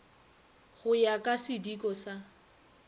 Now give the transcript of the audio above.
go ya ka sidiko sa